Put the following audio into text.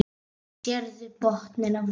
Sérðu botninn á þeim.